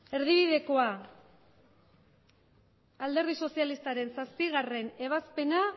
erdibidekoa alderdi sozialistaren zazpigarrena ebazpena